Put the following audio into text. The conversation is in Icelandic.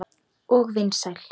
Og vinsæl.